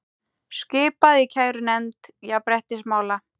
Skipað í kærunefnd jafnréttismála